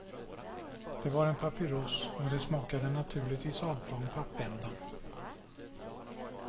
Det var en papyross och det smakade naturligtvis apa om pappänden.